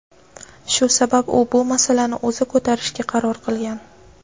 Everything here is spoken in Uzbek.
Shu sabab u bu masalani o‘zi ko‘tarishga qaror qilgan.